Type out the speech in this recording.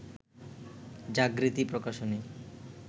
Jagriti Prakashani